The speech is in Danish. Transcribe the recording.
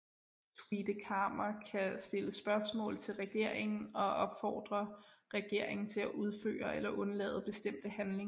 Tweede Kamer kan stille spørgsmål til regeringen og opfordre regeringen at udføre eller undlade bestemte handlinger